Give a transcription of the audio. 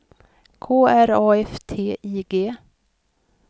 K R A F T I G